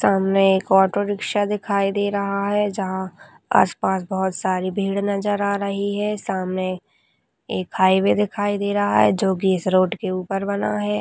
सामने एक auto rickshaw दिखाई दे रहा है जहा आप पास बोहोत सारी भीड़ नज़र आ रही है सामने एक हाईवे दिखाई दे रहा है जो कि इस रोड के ऊपर बना है।